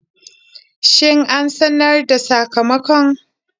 Shin an sanar da sakamakon?